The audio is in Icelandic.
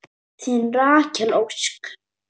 Þín Rakel Ósk.